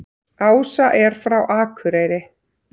Ása er frá Akureyri.